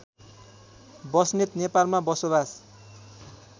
बस्नेत नेपालमा बसोबास